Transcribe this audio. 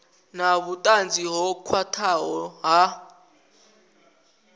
na vhutanzi ho khwathaho ha